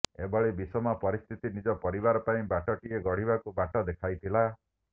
ଏଭଳି ବିଷମ ପରିସ୍ଥତି ନିଜ ପରିବାର ପାଇଁ ବାଟଟିଏ ଗଢିବାକୁ ବାଟ ଦେଖାଇଥିଲା